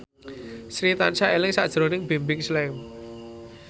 Sri tansah eling sakjroning Bimbim Slank